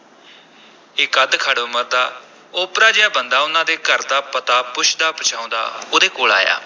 ਇਕ ਅੱਧਖੜ ਉਮਰ ਦਾ ਓਪਰਾ ਜਿਹਾ ਬੰਦਾ ਉਨ੍ਹਾਂ ਦੇ ਘਰ ਦਾ ਪਤਾ ਪੁੱਛਦਾ-ਪੁਛਾਉਂਦਾ ਉਹਦੇ ਕੋਲ ਆਇਆ।